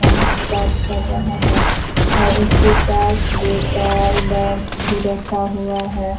Phone से बात कर रहा है और उसके पास बोतल बैग्स भी रखा हुआ है।